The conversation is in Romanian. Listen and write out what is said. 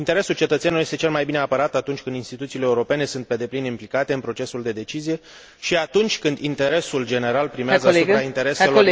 Interesul cetățenilor este cel mai bine apărat atunci când instituțiile europene sunt pe deplin implicate în procesul de decizie și atunci când interesul general primează asupra intereselor.....